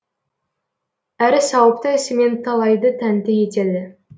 әрі сауыпты ісімен талайды тәнті етеді